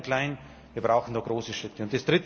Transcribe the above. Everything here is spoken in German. Nicht nur klein klein wir brauchen da große Schritte!